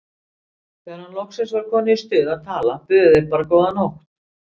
Þegar hann loksins var kominn í stuð að tala buðu þeir bara góða nótt!